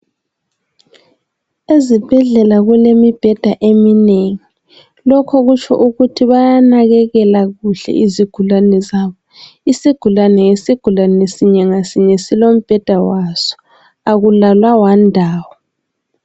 Ezibhedlela kulemibheda eminengi, lokho kutsho ukuthi bayanakekela kuhle izigulane zabo. Isigulane ngesigulane sinye ngasinye silombheda waso akulalwa wanindawo.